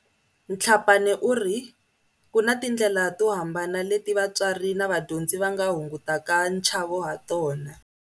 Tlhapane uri ku na tindlela to hambana leti vatswari na vadyondzi va nga hungutaka nchavo hatona.